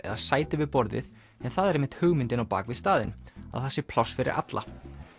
eða sæti við borðið en það er einmitt hugmyndin á bak við staðinn að það sé pláss fyrir alla